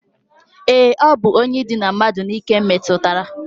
E, o bu onye idina mmadu n'ike metutara.